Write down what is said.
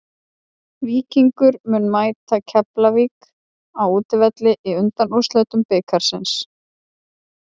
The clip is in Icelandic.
Víkingur mun mæta Keflavík á útivelli í undanúrslitum bikarsins.